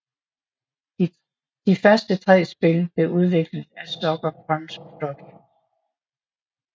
De første tre spil blev udviklet af Sucker Punch Productions